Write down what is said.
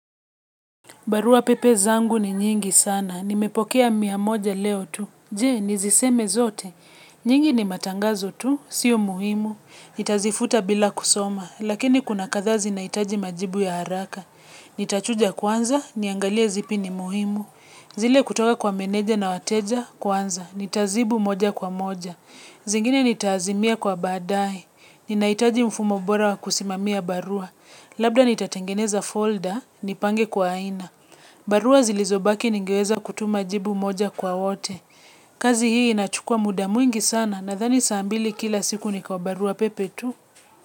Barua pepe zangu ni nyingi sana. Nimepokea mia moja leo tu. Je, niziseme zote. Nyingi ni matangazo tu. Sio muhimu. Nitazifuta bila kusoma. Lakini kuna kadhaa zi naitaji majibu ya haraka. Nitachuja kwanza, niangalie zipi ni muhimu. Zile kutoka kwa menedja na wateja, kwanza. Nitazibu moja kwa moja. Zingine nitaazimia kwa baadae. Ninaitaji mfumo bora wa kusimamia barua. Labda nitatengeneza folder, nipange kwa aina. Barua zilizobaki ningeweza kutuma jibu moja kwa wote. Kazi hii inachukua muda mwingi sana nadhani saa mbili kila siku ni kwa barua pepe tu.